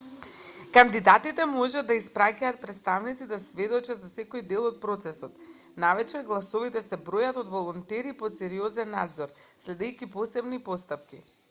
кандидатите може да испраќаат претставници да сведочат за секој дел од процесот навечер гласовите се бројат од волонтери под сериозен надзор следејќи посебни постапки